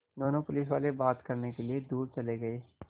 दोनों पुलिसवाले बात करने के लिए दूर चले गए